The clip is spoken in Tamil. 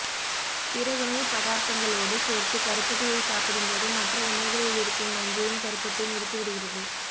பிற உணவு பதார்த்தங்களோடு சேர்த்து கருப்பட்டியை சாப்பிடும்போது மற்ற உணவுகளிலிருக்கும் நஞ்சையும் கருப்பட்டி முறித்துவிடுகிறது